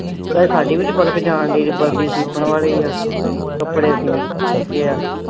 ਤੇ ਸਾਡੀ ਵੀ ਨਈਂ ਪਲਕ ਜਾਣ ਡਈ। ਅਜੇ ਵਰਦੀ ਸਿਤਨ ਵਾਲੀ ਆ ਕੱਪੜੇ ਊਂ .